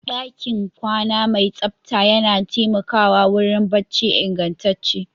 ɗakin kwana mai tsabta yana taimakawa wurin barci ingantacce